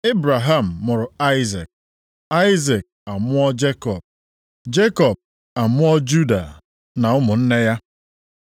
Ebraham mụrụ Aịzik, Aịzik amụọ Jekọb, Jekọb amụọ Juda na ụmụnne ya.